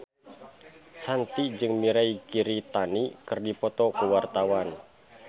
Shanti jeung Mirei Kiritani keur dipoto ku wartawan